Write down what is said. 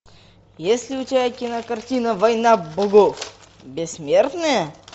есть ли у тебя кинокартина война богов бессмертные